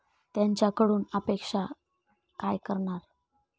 त्यांच्याकडून आम्ही काय अपेक्षा करणार?